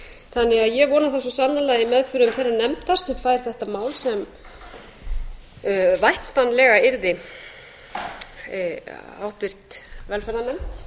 þannig að ég vona það svo sannarlega að í meðförum þeirrar nefndar sem fær þetta mál sem væntanlega yrði háttvirt velferðarnefnd